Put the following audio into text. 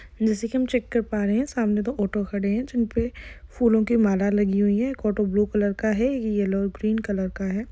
जैसे की हम चेक कर पा रहे है सामने दो ऑटो खड़े है जिनपे फूलो की माला लगी हुई है एक ऑटो ब्लू कलर का है येल्लो ग्रीन कलर का है।